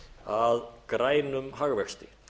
að grænum hagvexti